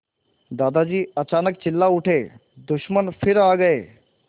दादाजी अचानक चिल्ला उठे दुश्मन फिर आ गए